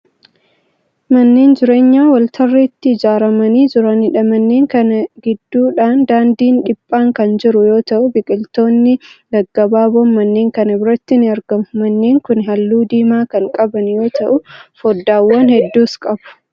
Manneen jireenyaa waltarreetti ijaaramanii jiraniidha. manneen Kana gidduudhaan daandiin dhiphaan Kan jiru yoo ta'u biqiltoonni gaggabaaboon manneen Kan biratti ni argamu. manneen Kuni halluu diimaa Kan qaban yoo ta'u foddaawwan hedduus qabu.